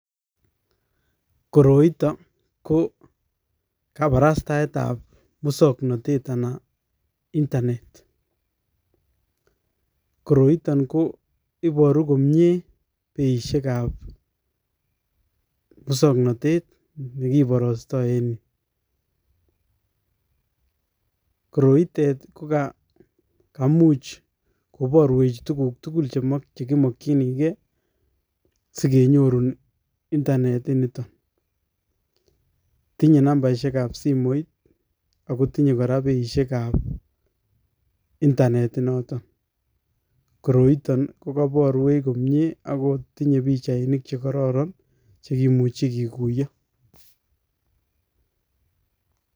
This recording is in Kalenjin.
Koroito, ko kabarastaetab usobnatet, anan internet. Koroiton ko iboru komye beishekab usobnatet ne kiborostoi en yu. Koroitet, ko kaimuch koborwech tuguk tugul che kimakchinikey, sikenyorun internet nitok. Tinye nambarishiekab simoit, akotinye kora beishekab internet inotok. Koroiton, ko kabarwech komyee akotinye pichainik che kararan, che kimuche kikuyen.